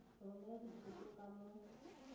go romela dithoto ka mo